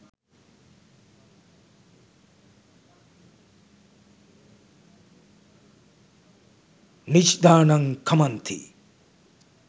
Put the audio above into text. නිජ්ඣානං ඛමන්ති.